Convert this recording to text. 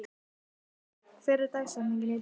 Elvý, hver er dagsetningin í dag?